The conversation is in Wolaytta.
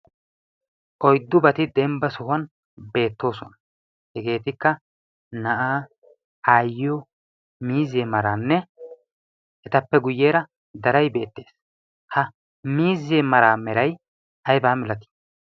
Oyddubati dembba sohuwan beettoosona. Hegeetikka na'aa, aayyiyo, miizzee maraanne etappe guyeera daray beettees. Ha miizzee maraa meray aybaa malatii?